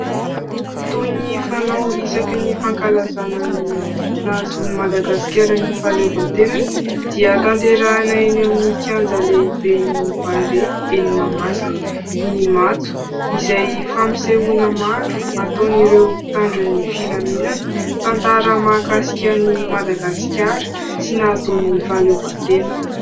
Toy ny fanao isaky ny fankalazana ny nahazahoan'i Madagasikara ny fahaleovantenany, dia tanterahina eny amin'ny kianja lehiben'ny Barea eny Mahamasina ny matso, izay fampisehoana maro ataon'ireo mpitandro ny filaminana. Tantara mahakasika an'i Madagasikara sy ny nahazahoany ny fahaleovantena.